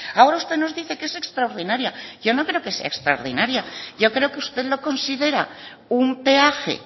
ahora usted nos dice que es extraordinaria yo no creo que sea extraordinaria yo creo que usted lo considera un peaje